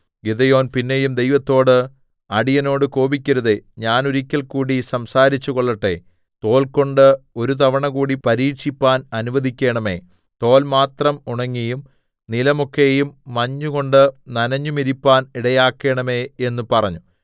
Gideon പിന്നെയും ദൈവത്തോട് അടിയനോട് കോപിക്കരുതേ ഞാൻ ഒരിക്കൽ കൂടി സംസാരിച്ചുകൊള്ളട്ടെ തോൽകൊണ്ടു ഒരു തവണ കൂടി പരീക്ഷിപ്പാൻ അനുവദിക്കേണമേ തോൽ മാത്രം ഉണങ്ങിയും നിലമൊക്കെയും മഞ്ഞുകൊണ്ടു നനഞ്ഞുമിരിപ്പാൻ ഇടയാകേണമേ എന്ന് പറഞ്ഞു